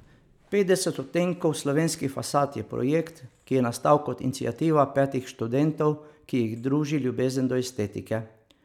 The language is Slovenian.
Petdeset odtenkov slovenskih fasad je projekt, ki je nastal kot iniciativa petih študentov, ki jih druži ljubezen do estetike.